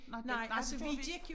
Nej det nej det gjorde vi ikke